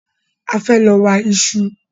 A fẹ́ lọ wa ìṣù